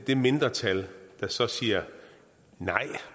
det mindretal der så siger nej